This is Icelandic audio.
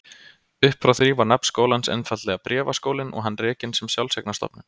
Uppfrá því var nafn skólans einfaldlega Bréfaskólinn og hann rekinn sem sjálfseignarstofnun.